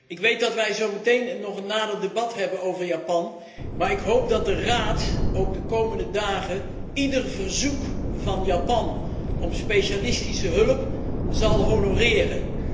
Ik weet dat wij zo meteen nog een debat hebben over Japan, maar ik hoop dat de Raad ook de komende dagen ieder verzoek van Japan om specialistische hulp zal honoreren.